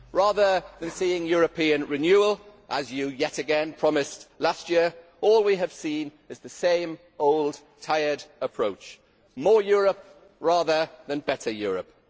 Rather than seeing European renewal, as you yet again promised last year, all we have seen is the same old tired approach more Europe rather than better Europe.